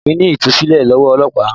Ọ̀fẹ́ ni Ìtúsílẹ̀ lọ́wọ́ ọlọ́pàá